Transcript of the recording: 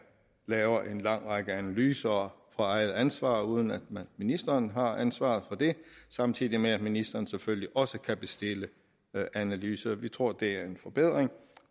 laver en lang række analyser på eget ansvar uden at ministeren har ansvaret for det samtidig med at ministeren selvfølgelig også kan bestille analyser vi tror det er en forbedring